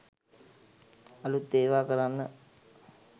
අලුත් ඒවා කරන්න